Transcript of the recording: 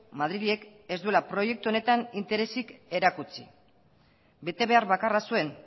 madrilek ez duela proiektu honetan interesik erakutsi betebehar bakarra zuen